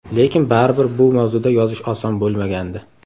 Lekin baribir bu mavzuda yozish oson bo‘lmagandi.